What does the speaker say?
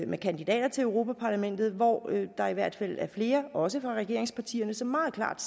med kandidater til europa parlamentet hvor der i hvert fald var flere også fra regeringspartierne som meget klart